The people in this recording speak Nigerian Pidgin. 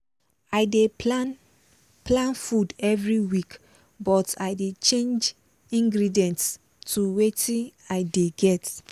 i dey plan plan food every week but i dey change ingredients to watin dey i get